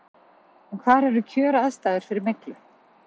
En hvar eru kjöraðstæður fyrir myglu?